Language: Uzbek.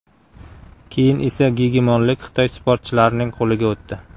Keyin esa gegemonlik Xitoy sportchilarining qo‘liga o‘tdi.